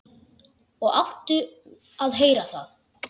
Og áttum að heyra það.